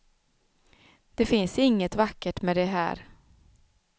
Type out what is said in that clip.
Det finns inget vackert med det här.